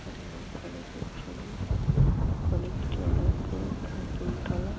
এটা law college -এর ছবি কলেজ - টি অনেক প্রায় তিনতালা ।